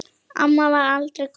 Amma varð aldrei gömul.